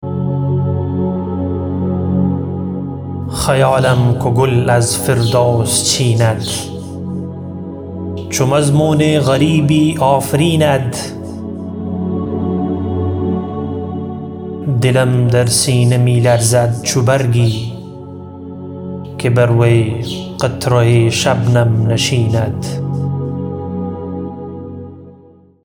خیالم کو گل از فردوس چیند چو مضمون غریبی آفریند دلم در سینه می لرزد چو برگی که بر وی قطره شبنم نشیند